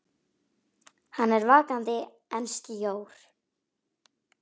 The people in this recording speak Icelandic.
Hann er vakandi en sljór.